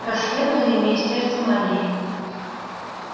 расследование в министерстве магии